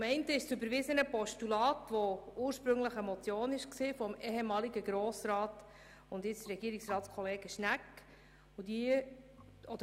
Zum einen handelt es sich um ein überwiesenes Postulat, welches ursprünglich eine Motion des ehemaligen Grossrats und heutigen Regierungsratskollegen Schnegg war.